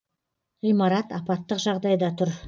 ғимарат апаттық жағдайда тұр